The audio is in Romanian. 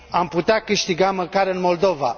Am putea câștiga măcar în Moldova.